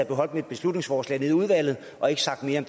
beholdt mit beslutningsforslag nede i udvalget og ikke sagt mere